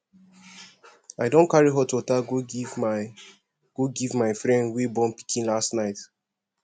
i don carry hot water go give my go give my friend wey born pikin last night